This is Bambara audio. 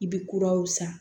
I bɛ kuraw san